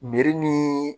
Biri ni